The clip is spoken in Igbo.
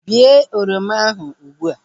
Bee oroma ahu ụgbụa!